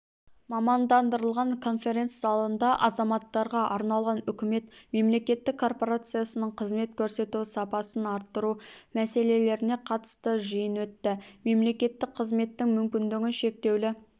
мамандандырылған конференц-залында азаматтарға арналған үкімет мемлекеттік корпорациясының қызмет көрсету сапасын арттыру мәселелеріне қатысты жиын өтті мемлекеттік қызметтің мүмкіндігі шектеулі